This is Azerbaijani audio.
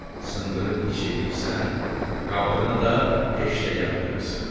Sındırıb iç eləyirsən, qabığını da peşdə yandırırsan.